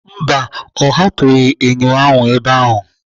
Mba, ọ hapụghị enyo ahụ ebe ahụ.